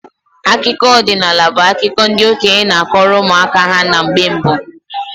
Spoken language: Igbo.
Akụkọ ọdinaala bu akụkọ ndị okenye n'akọrọ ụmụ aka ha na mgbe mbụ.